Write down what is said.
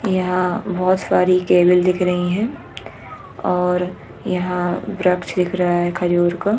यहाँ बहोत सारी केबल दिख रही है और यहाँ वृक्ष दिख रहा है खजूर का--